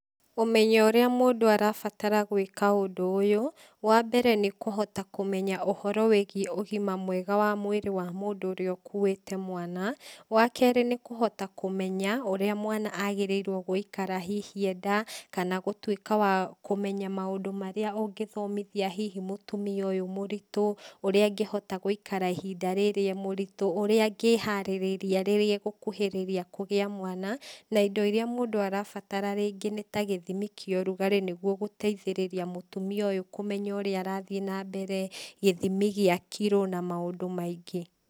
Ũmenyo ũrĩa mũndũ arabatara gwĩka ũndũ ũyũ, wambere nĩ kũhota kũmenya ũhoro wĩgiĩ ũgima mwega wa mwĩrĩ wa mũndũ ũrĩa ũkuĩte mwana, wa kerĩ nĩkũhota kũmenya ũrĩa mwana agĩrĩirwo gũikara hihi e nda, kana gũtuĩka wa kũmenya maũndũ marĩa ũngĩthomithia hihi mũtumia ũyũ mũritũ, ũrĩa angĩhota gũikara ihinda rĩrĩ e mũritũ, ũrĩa angĩharĩrĩria rĩrĩa agũkuhĩrĩria kũgĩa mwana, na indo iria mũndũ arabatara, rĩngĩ nĩtagĩthimi kĩa ũrugarĩ nĩguo gũteiithĩrĩria mũtumia ũyũ kũmenya ũrĩa arathiĩ nambere gĩthimi gĩa kiro na maũndũ maingĩ.